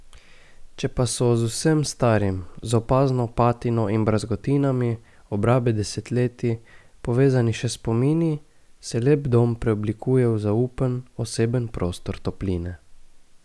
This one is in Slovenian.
Če pa so z vsem starim, z opazno patino in brazgotinami obrabe desetletij, povezani še spomini, se lep dom preoblikuje v zaupen, oseben prostor topline.